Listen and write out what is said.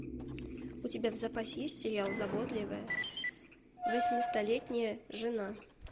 у тебя в запасе есть сериал заботливая восьмистолетняя жена